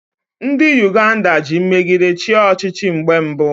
Ndị Uganda ji mmegide chịa ọchịchị mgbe mbụ